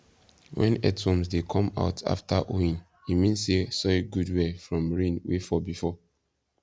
when earthworms dey come out after hoeing e mean say soil good well from rain wey fall before